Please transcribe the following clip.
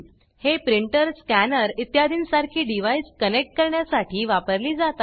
हे printer scanner इत्यादींसारखी device connect करण्यासाठी वापरली जातात